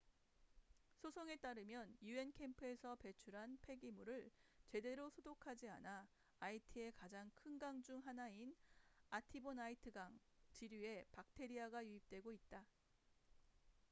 소송에 따르면 un 캠프에서 배출한 폐기물을 제대로 소독하지 않아 아이티의 가장 큰 강 중 하나인 아티보나이트강artibonite river 지류에 박테리아가 유입되고 있다